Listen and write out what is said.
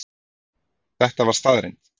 Þetta var staðreynd.